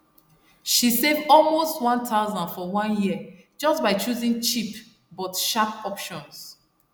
she save almost 1000 for one year just by choosing cheap but sharp options